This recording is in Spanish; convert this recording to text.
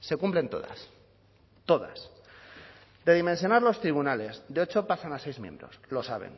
se cumplen todas todas de dimensionar los tribunales de ocho pasan a seis miembros lo saben